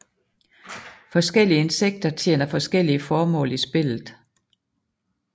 Forskellige insekter tjener forskellige formål i spillet